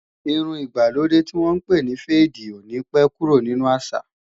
Irun ìgbàlódé tí wọ́n pè ní féèdì ò ní pé kúrò nínu àṣà